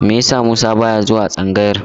Me yasa Musa ba ya zuwa tsangayar?